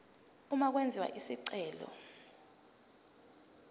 uma kwenziwa isicelo